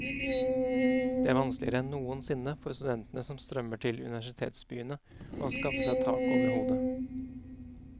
Det er vanskeligere enn noensinne for studentene som strømmer til universitetsbyene å skaffe seg tak over hodet.